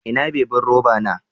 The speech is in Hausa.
Ina bibin roba na?